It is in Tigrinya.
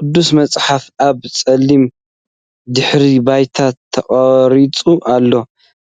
ቅዱስ መጽሓፍ ኣብ ጸሊም ድሕረ ባይታ ተቐሪጹ ኣሎ።